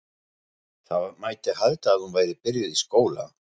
Það mætti halda að hún væri byrjuð í skóla.